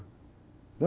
Deu?